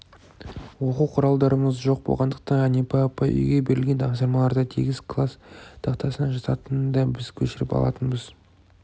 оқу құралдарымыз жоқ болғандықтан әнипа апай үйге берілген тапсырмаларды тегіс класс тақтасына жазатын да біз көшіріп алатынбыз